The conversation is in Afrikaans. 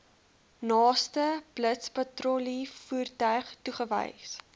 naaste blitspatrollievoertuig toegewys